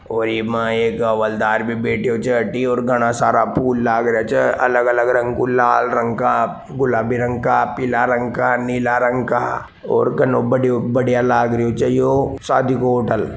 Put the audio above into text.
ओ इ एक हवालदार भी बेठ्यो छे अठी और घना सारे फूल बी लाग्यो छे अलग अलग रंग के लाल रंग का गुलाबी रंग का पिला रंग का नीला रंग का और घाना बढ़िया लाग रहो छे यो सादी को होटल ।